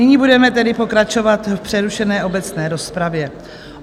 Nyní budeme tedy pokračovat v přerušené obecné rozpravě.